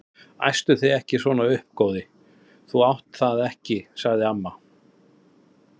Æstu þig ekki svona upp góði, þú mátt það ekki sagði amma.